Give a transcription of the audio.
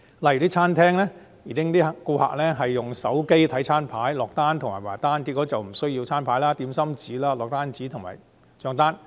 例如，餐廳的顧客改用手機看餐牌、落單和結帳，不用餐牌、點心紙、落單紙和帳單。